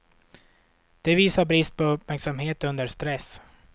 Det visar brist på uppmärksamhet under stress.